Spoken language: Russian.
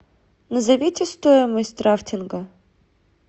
назовите стоимость рафтинга